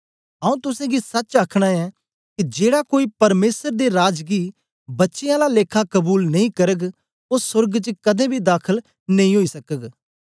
आऊँ तुसेंगी सच आखना ऐं के जेड़ा कोई परमेसर दे राज गी बच्चें आला लेखा कबूल नेई करग ओ सोर्ग च कदें बी दाखल नेई ओई सकग